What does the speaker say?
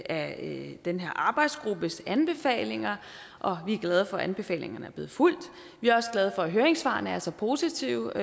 af den her arbejdsgruppes anbefalinger og vi er glade for at anbefalingerne er blevet fulgt og vi er også glade for at høringssvarene er så positive